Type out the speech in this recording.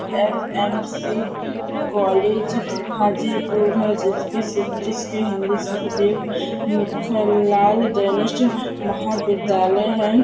SMC college Hajipur है जिसके सुक जिसके हिन्दी सुकदेव मुखानलाल महाविद्यालय है।